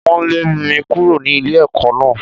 Wọ́n lé mi kúrò ní ilé ẹ̀kọ́ náà.